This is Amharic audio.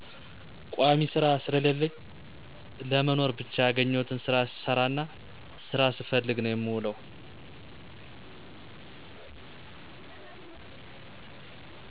ቋሚ ስራ ስለለለኝ ለመኖር ብቻ ያገኘሁትን ስራ ስሰራና ስራ ስፈልግ ነው የምውለው።